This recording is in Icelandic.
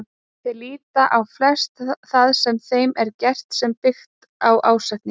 Þeir líta á flest það sem þeim er gert sem byggt á ásetningi.